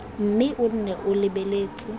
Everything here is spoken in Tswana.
mme o nne o lebeletse